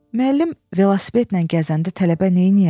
Müəllim velosipedlə gəzəndə tələbə neyniyər?